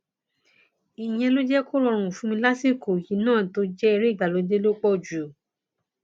ìyẹn jẹ kó rọrùn fún mi lásìkò yìí náà tó jẹ eré ìgbàlódé ló pọ jù